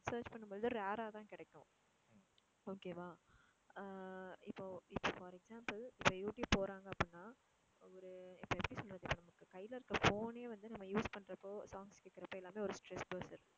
search பண்ணும்போது rare ஆ தான் கிடைக்கும் okay வா? எர் இப்போ இப்போ for example இப்போ யூ ட்யூப் போறாங்க அப்படினா ஒரு இப்போ எப்படி சொல்றது இப்போ நமக்கு கையில இருக்குற phone யே வந்து நம்ம use பண்றபோ songs கேக்குறப்போ எல்லாமே ஒரு stress bruster